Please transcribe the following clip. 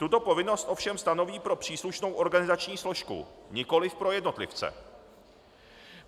Tuto povinnost ovšem stanoví pro příslušnou organizační složku, nikoli pro jednotlivce.